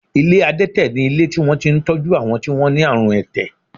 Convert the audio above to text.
Ilé adẹ́tẹ̀ ni ilé tí wọ́n ti ń tọ́jú àwọn tí wọ́n ní àrùn ẹ̀tẹ̀